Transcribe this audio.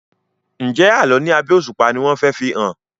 Njé Àlọ ní abé òṣùpá ní wón fè fihàn?